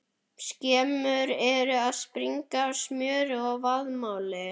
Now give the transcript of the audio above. Skemmur eru að springa af smjöri og vaðmáli!